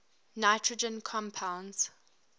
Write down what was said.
nitrogen compounds